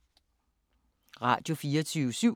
Radio24syv